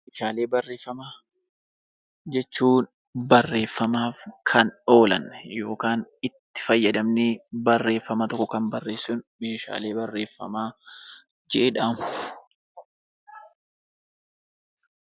Meeshaalee barreeffamaa jechuun barreeffamaaf kan oolan yookaan itti fayyadamnee barreeffama tokko kan barreessinu Meeshaalee barreeffamaa jedhamu.